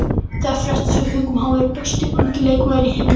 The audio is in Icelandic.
Þær fréttir sem við fengum að hann væri besti ungi leikmaðurinn í heiminum.